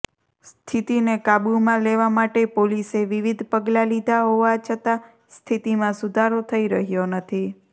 સ્થિતીને કાબુમાં લેવા માટે પોલીસે વિવિધ પગલા લીધા હોવા છતાં સ્થિતીમાં સુધારો થઇ રહ્યો નથી